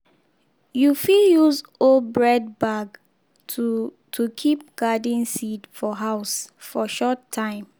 spray small neem powder inside seed sack before you tie am so e go last for long